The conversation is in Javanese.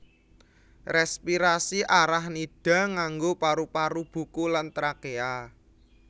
Rèspirasi Arachnida nganggo paru paru buku lan trakéa